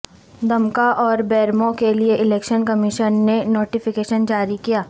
دمکا اور بیرمو کیلئے election commission نے نوٹیفکیشن جاری کیا